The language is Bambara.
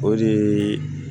O de ye